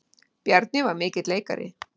Bjarni var mikill leikari.